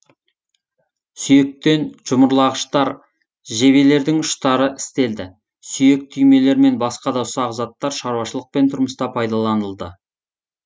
сүйектен жұмырлағыштар жебелердің ұштары істелді сүйек түймелер мен баска да ұсақ заттар шаруашылық пен тұрмыста пайдаланылды